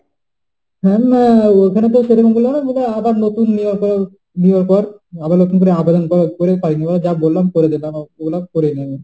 হ্যাঁ না ওখানে তো সেরকম বলল না বলল যে আবার নতুন নেওয়ার পর নেয়ার পর আবার নতুন করে আবেদন করে পাইনি। ওরা যা বলল করে দিলাম। বললাম করে নিও।